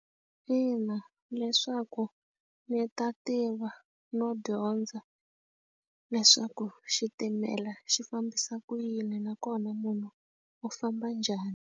Ina, leswaku ndzi ta tiva no dyondza leswaku xitimela xi fambisa ku yini nakona munhu u famba njhani.